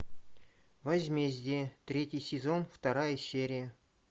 возмездие третий сезон вторая серия